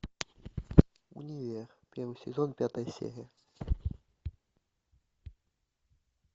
универ первый сезон пятая серия